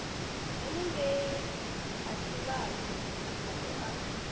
henengei ha tshivhasa makhado a